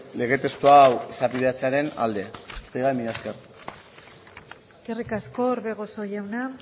lege testu hau izapidetzearen alde besterik gabe mila esker eskerrik asko orbegozo jauna